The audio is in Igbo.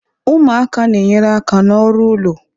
Ụmụaka na enyere aka ná ọrụ ụlọ